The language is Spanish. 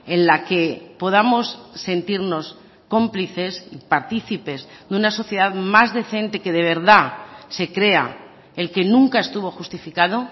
en la que podamos sentirnos cómplices y participes de una sociedad más decente que de verdad se crea el que nunca estuvo justificado